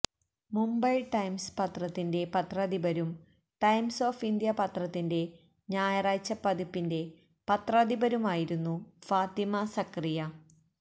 Mumbai Times പത്രത്തിന്റെ പത്രാധിപരും Times of India പത്രത്തിന്റെ ഞായറാഴ്ച പതിപ്പിന്റെ പത്രാധിപരുമായിരുന്നു ഫാത്തിമ സക്കറിയ